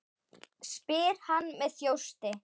spyr hann með þjósti.